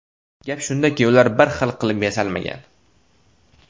Gap shundaki ular bir xil qilib yasalmagan.